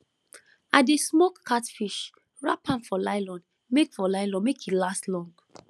i dey smoke catfish wrap am for nylon make for nylon make e last long